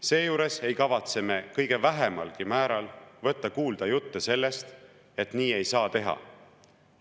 Seejuures ei kavatse me kõige vähemalgi määral võtta kuulda jutte sellest, et nii ei saa teha.